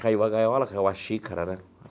Caiu a gaiola, caiu a xícara, né?